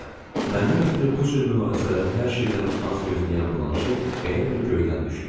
Məndən ötrü bu cür münasibələri hər şeydən az gözləyən Blanşe elə bil göydən düşdü.